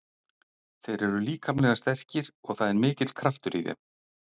Þeir eru líkamlega sterkir og það er mikill kraftur í þeim.